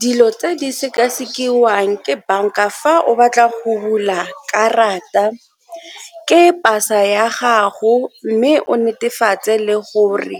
Dilo tse di sekasekiwang ke banka fa o batla go bula karata ke pasa ya gago mme o netefatse le gore